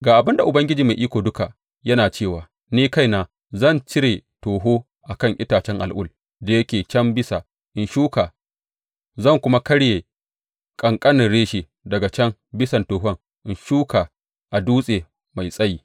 Ga abin da Ubangiji Mai Iko Duka yana cewa ni kaina zan cire toho a kan itacen al’ul da yake can bisa in shuka; zan kuma karya ƙanƙanin reshe daga can bisan tohon in shuka a dutse mai tsayi.